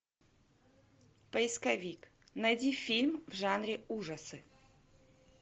поисковик найди фильм в жанре ужасы